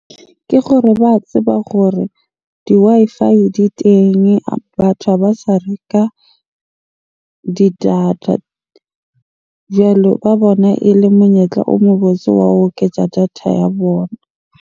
Ke gore ba tseba gore di-Wi-Fi di teng, batho ha ba sa reka di data. Jwale ba bona ele monyetla o mobotse wa ho oketsa data ya bona.